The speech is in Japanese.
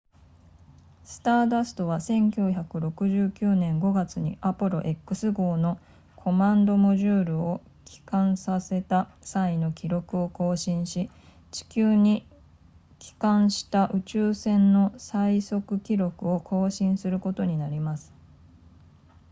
スターダストは1969年5月にアポロ x 号のコマンドモジュールを帰還させた際の記録を更新し地球に帰還した宇宙船の最速記録を更新することになります